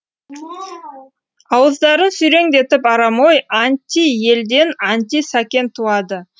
ауыздарын сүйреңдетіп арам ой анти елден анти сәкен туады